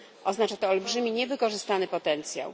Oznacza to olbrzymi niewykorzystany potencjał.